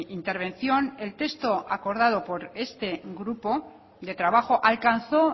intervención el texto acordado por este grupo de trabajo alcanzó